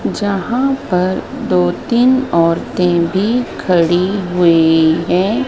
यहां पर दो तीन औरतें भी खड़ी हुई हैं।